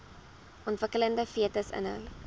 ontwikkelende fetus inhou